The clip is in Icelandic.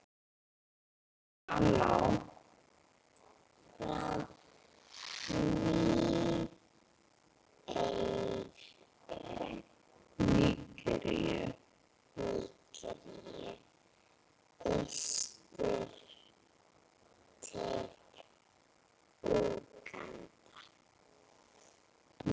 frá Nígeríu austur til Úganda.